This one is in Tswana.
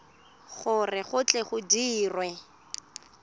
gore go tle go dirwe